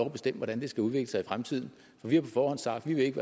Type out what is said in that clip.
at bestemme hvordan det skal udvikle sig i fremtiden for vi har på forhånd sagt at vi ikke